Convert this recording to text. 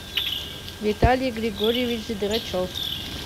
виталий григорьевич драчев